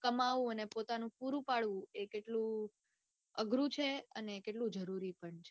કમાવું અને પોતાનું પૂરું પડવું એ કેટલું અઘરું છે ને કેટલું જરૂરી છે.